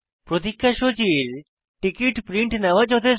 প্রতিক্ষা সূচীর ticket print নেওয়া যথেষ্ট